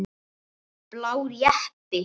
Blár jeppi.